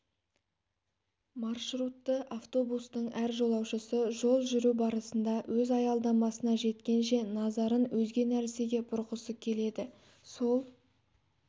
маршрутты автобустың әр жолаушысы жол жүру барысында өз аялдамасына жеткенше назарын өзге нәрсеге бұрғысы келеді сол